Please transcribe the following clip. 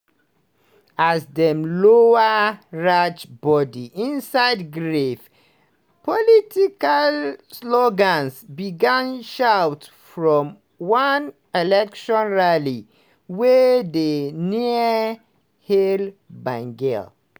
as dem lower raj body inside grave political slogans begin shout from one election rally wey dey near: "hail bengal!"